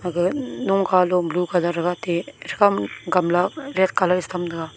aga nokhalo blue colour haga te tram kamla det colour dhikham taga.